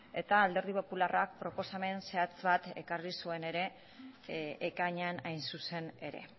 eta alderdi popularrak proposamen zehatz bat ekarri zuen ere ekainean hain zuzen ere